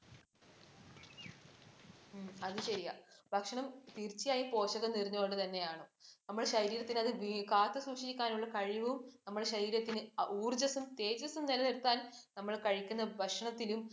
ഉം അത് ശരിയാ. ഭക്ഷണം തീര്‍ച്ചയായും പോഷകവും നിറഞ്ഞ തന്നെയാകണം. നമ്മുടെ ശരീരത്തിന് അത് കാത്തുസൂക്ഷികാനുള്ള കഴിവും, നമ്മുടെ ശരീരത്തിന് ഊര്‍ജ്ജസ്സും, തേജസ്സും നിലനിര്‍ത്താന്‍ നമ്മള്‍ കഴിക്കുന്ന ഭക്ഷണത്തിലും